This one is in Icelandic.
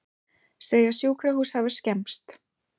Segja sjúkrahús hafa skemmst